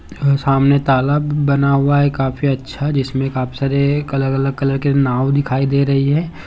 सामने तालाब बना हुआ है काफी अच्छा जिसमें काफी सारे अलग-अलग रंग के नाँव दिखाई दे रहे हैं।